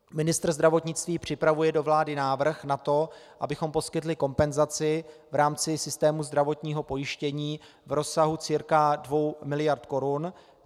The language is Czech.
Ministr zdravotnictví připravuje do vlády návrh na to, abychom poskytli kompenzaci v rámci systému zdravotního pojištění v rozsahu cca 2 miliard korun.